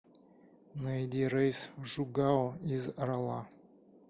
найди рейс в жугао из орла